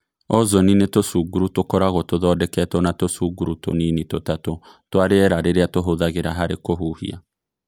Ozoni nĩ tũcunguru tukoragwo tũthondeketwo na tũcunguru tũnini tũtatũ twa rĩera rĩrĩa tũhũthagĩra harĩ kũhũhia.